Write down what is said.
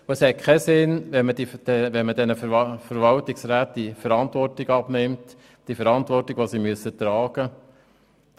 Es hat keinen Sinn, den Verwaltungsräten die Verantwortung abzunehmen – die Verantwortung, die sie tragen müssen.